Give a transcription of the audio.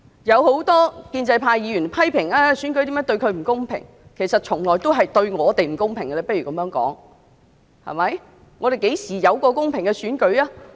有很多建制派議員批評選舉如何對他們不公平；不如這樣說，其實選舉從來對我們也是不公平的，香港何時有過公平的選舉？